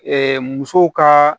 musow ka